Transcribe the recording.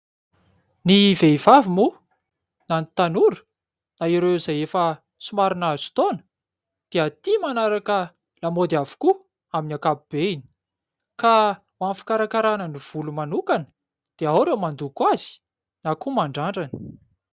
Ny vehivavy moa na ny tanora na ireo izay efa somary nahazo taona dia tia manaraka lamaody avokoa amin' ny ankapobeny. Ka ho amin' ny fikarakarana ny volo manokana dia ao ireo mandoko azy na koa mandrandrana.